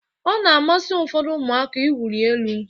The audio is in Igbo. Ọ na-amasị ụfọdụ ụmụaka iwuli elu